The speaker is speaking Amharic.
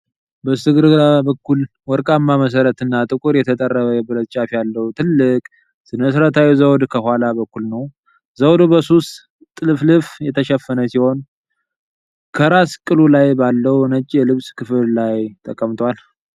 በስተግራ በኩል ባለ ወርቃማ መሠረትና ጥቁር የተጠረበ የብረት ጫፍ ያለው ትልቅ ሥነ-ሥርዓታዊ ዘውድ ከኋላ በኩልነው። ዘውዱ በስሱ ጥልፍልፍ የተሸፈነ ሲሆን፣ ከራስ ቅሉ ላይ ባለው ነጭ የልብስ ክፍል ላይ ተቀምጧል።